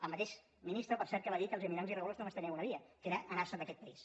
el mateix ministre per cert que va dir que els immigrants irregulars només tenien una via que era anarse’n d’aquest país